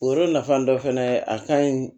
O yɔrɔ nafan dɔ fɛnɛ ye a kaɲi